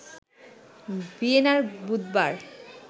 ভিয়েনায় বুধবার